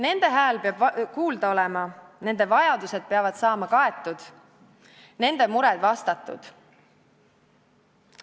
Nende hääl peab kuulda olema, nende vajadused peavad saama kaetud, nende mured vastatud.